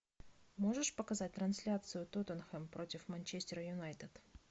можешь показать трансляцию тоттенхэм против манчестер юнайтед